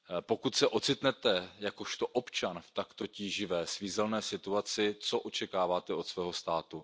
Pokud se ocitnete jakožto občan v takto tíživé, svízelné situaci, co očekáváte od svého státu?